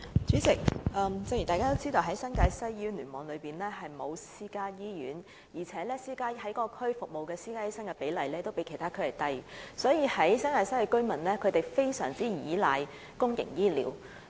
主席，正如大家也知道，新界西聯網並沒有私營醫院，而在該區執業的私家醫生的比例較其他地區低，所以新界西居民非常倚賴公營醫療服務。